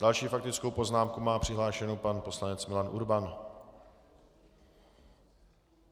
Další faktickou poznámku má přihlášenu pan poslanec Milan Urban.